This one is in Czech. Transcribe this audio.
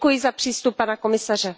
Takže děkuji za přístup pana komisaře.